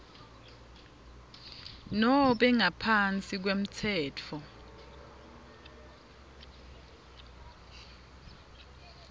nobe ngaphansi kwemtsetfo